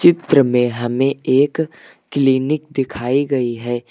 चित्र में हमें एक क्लीनिक दिखाई गई है।